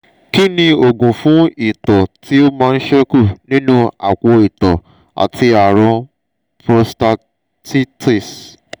kí ni oògùn fún ito ti o man seku nínú apo ito àti àrùn prostatitis?